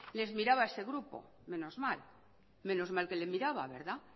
les miraba a ese grupo menos mal menos mal que le miraba verdad